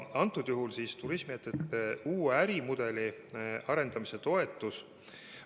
Antud juhul on tegemist turismiettevõtete uue ärimudeli arendamise toetusega.